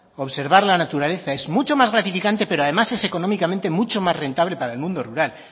la naturaleza es mucho más gratificante pero además es económicamente mucho más rentables para el mundo rural